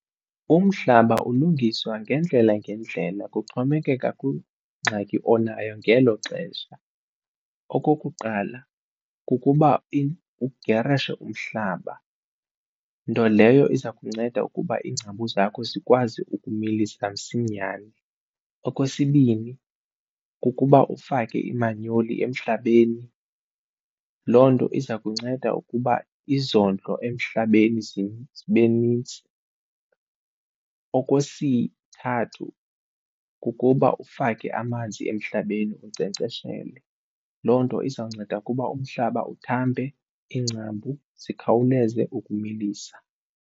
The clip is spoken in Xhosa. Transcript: Umhlaba ulungiswa ngeendlela ngeendlela kuxhomekeka kungxaki onayo ngelo xesha. Okokuqala, kukuba ugerishe umhlaba nto leyo iza kunceda ukuba iingcambu zakho zikwazi ukumilisa msinyane. Okwesibini, kukuba ufake imanyoli emhlabeni, loo nto iza kunceda ukuba izondlo emhlabeni zibe nintsi. Okwesithathu, kukuba ufake amanzi emhlabeni unkcenkceshele. Loo nto izawunceda ukuba umhlaba uthambe iingcambu zikhawuleze ukumilisa.